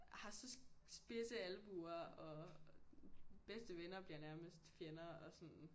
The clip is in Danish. Har så spidse albuer og bedste venner bliver nærmest fjender og sådan